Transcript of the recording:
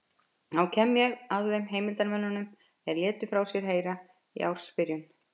Þá kem ég að þeim heimildarmönnum er létu frá sér heyra í ársbyrjun